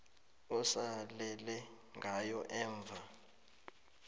osalele ngayo emva